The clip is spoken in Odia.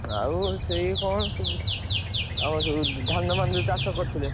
ଆଉ ସେଇ କଣ, ଆମର ସବୁ ଧାନ ମାନ ଯୋଉ ଚାଷ କରିଥିଲେ।